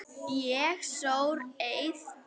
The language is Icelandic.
Ég sór eið.